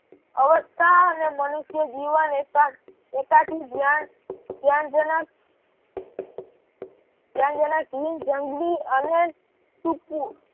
અવસ્થા અને મનુષ્ય જીવન એકાકી ધ્યાનજનક ધ્યાનજનક જંગલી અને સૂકું